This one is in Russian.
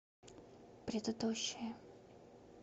предыдущая